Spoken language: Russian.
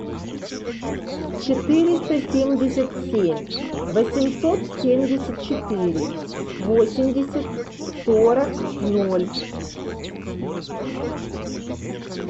четыреста семьдесят семь восемьсот семьдесят четыре восемьдесят сорок ноль